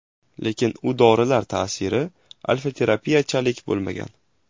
Lekin u dorilar ta’siri alfa-terapiyachalik bo‘lmagan.